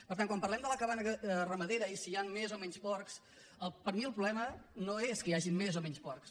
per tant quan parlem de la cabana ramadera i si hi han més o menys porcs per a mi el problema no és que hi hagin més o menys porcs